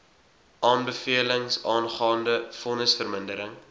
aanbevelings aangaande vonnisvermindering